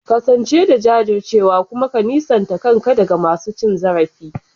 Kasance da jajircewa kuma ka nisanta kanka daga masu cin zarafi.